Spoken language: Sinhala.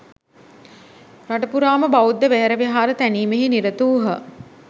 රටපුරාම බෞද්ධ වෙහෙරවිහාර තැනීමෙහි නිරතවූහ.